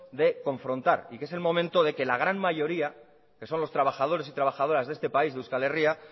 de confrontar y que es el momento de que la gran mayoría que son los trabajadores y trabajadoras de este país de euskal herria